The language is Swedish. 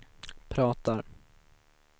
pratar